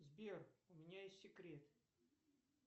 сбер у меня есть секрет